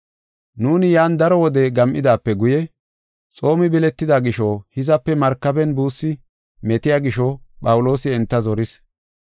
Nuuni yan daro wode gam7idaape guye xoomi biletida gisho hizape markaben buussi metiya gisho Phawuloosi enta zoris.